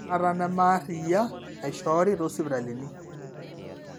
baata neme ariyia naishoori tesipitali